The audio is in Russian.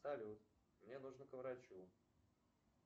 салют мне нужно к врачу